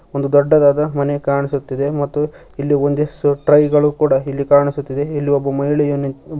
ಒಂದು ದೊಡ್ಡದಾದ ಮನೆ ಕಾಣಿಸುತ್ತಿದೆ ಮತ್ತು ಇಲ್ಲಿ ಒಂದಿಷ್ಟು ಟ್ರೈ ಗಳು ಕೂಡ ಇಲ್ಲಿ ಕಾಣಿಸುತ್ತಿದೆ ಇಲ್ಲಿ ಒಬ್ಬ ಮಹಿಳೆಯು ನಿಂತ್ ಬರ್ತಿ.